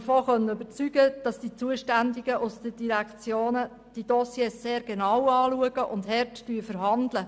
Ich konnte mich davon überzeugen, dass die Zuständigen aus den Direktionen diese Dossiers sehr genau anschauen und hart verhandeln.